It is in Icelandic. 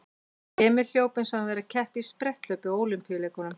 Emil hljóp eins og hann væri að keppa í spretthlaupi á Ólympíuleikunum.